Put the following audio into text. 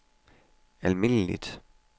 almindeligt